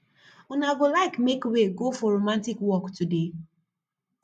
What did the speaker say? una go like make wey go for romantic walk today